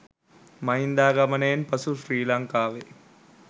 මහින්දාගමනයෙන් පසු ශ්‍රී ලංකාවේ